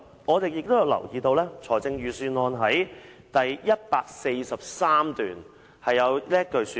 我亦留意到預算案第143段提到......